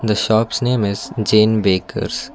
the shops name is jain bakes.